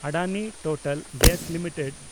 Adani Total Gas limited